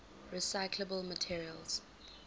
recyclable materials